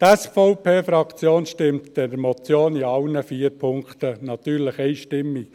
Die SVP-Fraktion stimmt der Motion in allen vier Punkten zu, natürlich einstimmig.